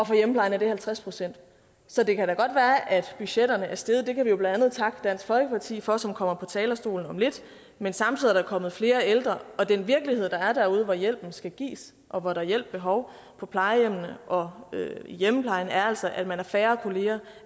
for hjemmeplejen er det halvtreds procent så det kan da godt være at budgetterne er steget det kan vi jo blandt andet takke dansk folkeparti for som kommer på talerstolen om lidt men samtidig er der kommet flere ældre den virkelighed der er derude hvor hjælpen skal gives og hvor der er hjælp behov på plejehjemmene og i hjemmeplejen er altså at man er færre kolleger